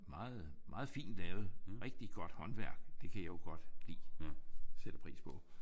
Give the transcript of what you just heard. Meget meget fint lavet. Rigtig godt håndværk. Det kan jeg jo godt lidt. Sætter pris på